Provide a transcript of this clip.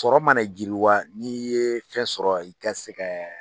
Tɔrɔ mana jiriwa n'i ye fɛn sɔrɔ i ka se kɛ